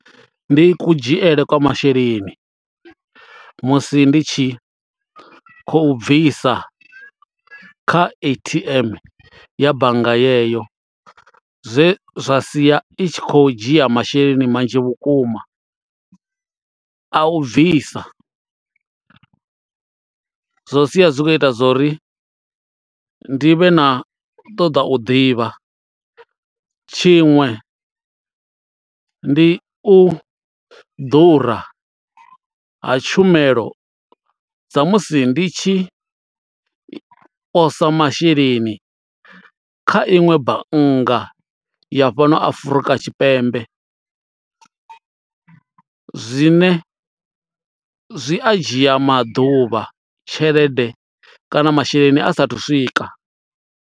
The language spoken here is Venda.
Ndi kudzhiele kwa masheleni musi ndi tshi khou bvisa kha A_T_M ya bannga yeyo zwe zwa sia i tshi khou dzhia masheleni manzhi vhukuma a u bvisa, zwo sia zwi khou ita zwo uri ndi vhe na u ṱoḓa u ḓivha tshiṅwe ndi u ḓura ha tshumelo sa musi ndi tshi posa masheleni kha iṅwe bannga ya fhano Afrika Tshipembe zwine zwi a dzhia maḓuvha tshelede kana masheleni a sathu swika.